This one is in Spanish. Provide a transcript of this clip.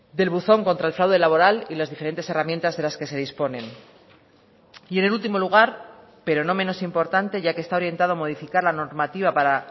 del buzón contra el fraude laboral y las diferentes herramientas de las que se disponen y en el último lugar pero no menos importante ya que está orientado a modificar la normativa para